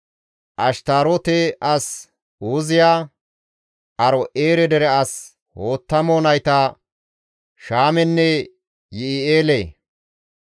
Ashtaarote as Uuziya, Aaro7eere dere as Hoottamo nayta Shaamenne Yi7i7eele,